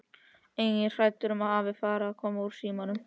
Einnig hrædd um að afi fari að koma úr símanum.